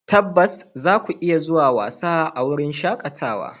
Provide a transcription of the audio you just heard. Tabbas, zaku iya zuwa wasa a wurin shakatawa.